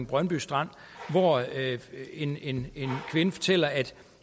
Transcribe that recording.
brøndby strand hvor en kvinde fortæller at